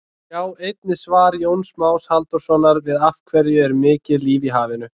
Sjá einnig svar Jóns Más Halldórssonar við Af hverju er mikið líf í hafinu?